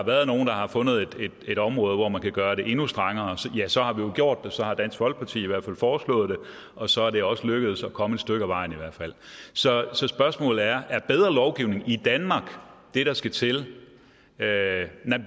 været nogen der har fundet et område hvor man kunne gøre det endnu strengere ja så har vi jo gjort det så har dansk folkeparti i hvert fald foreslået det og så er det også lykkedes at komme stykke ad vejen så så spørgsmålet er er bedre lovgivning i danmark det der skal til